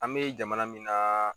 An be jamana min na